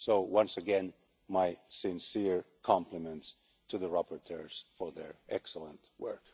So, once again, my sincere compliments to the rapporteurs on their excellent work.